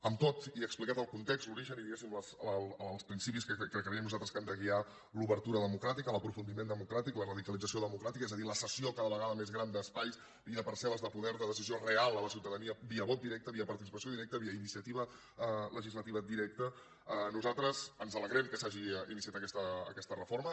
amb tot i explicat el context l’origen i diguem ne els principis que creiem nosaltres que han de guiar l’obertura democràtica l’aprofundiment democràtic la radicalització democràtica és a dir la cessió cada vegada més gran d’espais i de parcel·les de poder de decisió real a la ciutadania via vot directe via participació directa via iniciativa legislativa directa nosaltres ens alegrem que s’hagi iniciat aquesta reforma